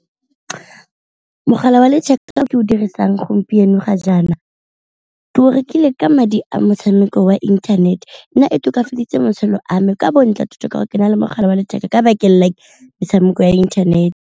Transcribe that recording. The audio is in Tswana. Mogala wa letheka o ke o dirisang gompieno ga jaana ke o rekile ka madi a motshameko wa inthanete, nna e tokafaditse motshelo a me ka ka gore ke na le mogala wa letheka ka bakeng la metshameko ya internet.